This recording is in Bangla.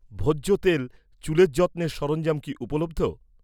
ভোজ্য তেল, চুলের যত্নের সরঞ্জাম কি উপলব্ধ?